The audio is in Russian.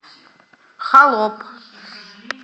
холоп